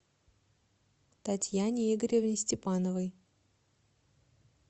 татьяне игоревне степановой